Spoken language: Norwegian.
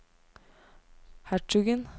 hertugen